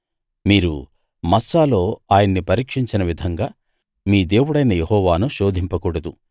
మీరు మస్సాలో ఆయన్ని పరీక్షించిన విధంగా మీ దేవుడైన యెహోవాను శోధింపకూడదు